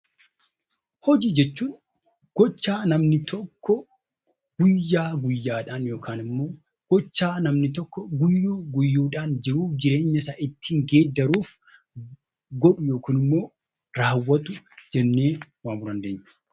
Hojii jechuun gochaa namni tokko guyyaa guyyaadhaan yookiin immoo gochaa guyyuu guyyuu keessaatti jireenya isaa ittiin geeddaruuf godhu yookiin immoo raawwatu hojii jennee waamuu dandeenya.